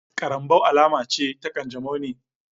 Karambaw alama ce ta kanjamau ne